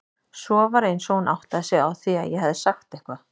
Svo var eins og hún áttaði sig á því að ég hefði sagt eitthvað.